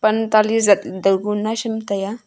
pan tali zat dao ku naisham tai a.